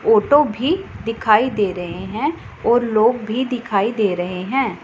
Photo भी दिखाई दे रहे हैं और लोग भी दिखाई दे रहे हैं।